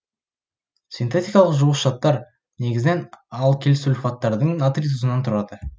синтетикалық жуғыш заттар негізінен алкилсульфаттардың натрий тұзынан тұрады